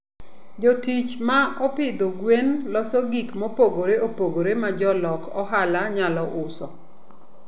Jotich ma opidho gwen loso gik mopogore opogore ma jolok ohala nyalo uso.